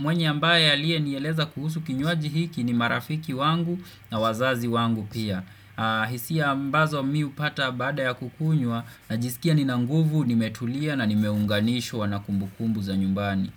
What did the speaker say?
mwenye ambaye alie niyeleza kuhusu kinyuaji hiki ni marafiki wangu na wazazi wangu pia hisia mbazo miu pata bada ya kukunywa na jisikia ni nanguvu ni metulia na ni meunganisho wanakumbukumbu za nyumbani.